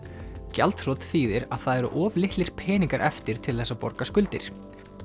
gjaldþrot þýðir að það eru of litlir peningar eftir til þess að borga skuldir